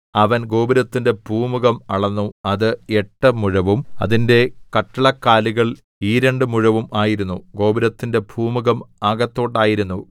അവൻ ഗോപുരത്തിന്റെ പൂമുഖം അളന്നു അത് എട്ട് മുഴവും അതിന്റെ കട്ടിളക്കാലുകൾ ഈ രണ്ടു മുഴവും ആയിരുന്നു ഗോപുരത്തിന്റെ പൂമുഖം അകത്തോട്ടായിരുന്നു